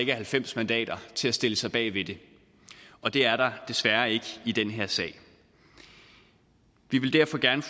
er halvfems mandater til at stille sig bag ved det og det er der desværre ikke i den her sag vi vil derfor gerne